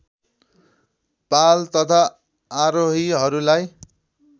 पाल तथा आरोहीहरूलाई